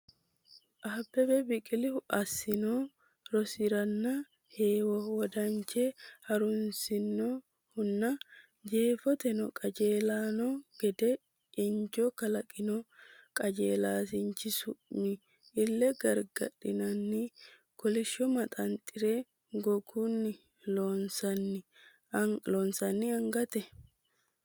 Abbebe Biqilihu assino rosiisi’ranna heewo wodanche ha’runsino hunna jeefoteno qajeelanno gede injo kalaqino qajeelshaanchi su’mi, Ille gargadhinanni kolishsho maxanxare, gogunni loonsoonni angate?